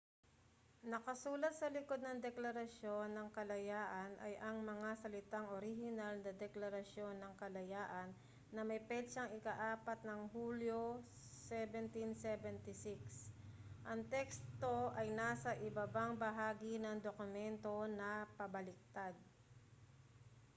nakasulat sa likod ng deklarasyon ng kalayaan ay ang mga salitang orihinal na deklarasyon ng kalayaan na may petsang ika-4 ng hulyo 1776 ang teksto ay nasa ibabang bahagi ng dokumento na pabaligtad